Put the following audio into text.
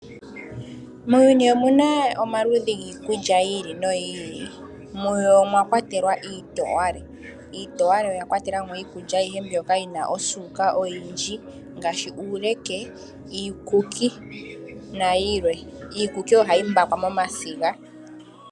Muuyuni omuna omaludhi giikulya yi ili noyi ili, muyo omwakwatelwa iitowale. Iitowale oyakwatela mo iikulya ayihe mbyoka yina osuuka oyindji ngaashi uuleke, iikuki nayilwe. Iikuki ohayi mbakwa momasiga.